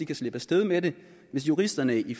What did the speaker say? kan slippe af sted med det hvis juristerne i